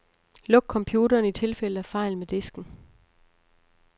Luk computeren i tilfælde af fejl med disken.